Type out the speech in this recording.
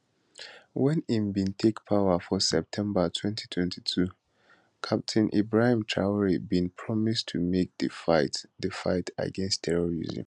wen im bin take power for september 2022 captain ibrahim traor bin promise to make di fight di fight against terrorism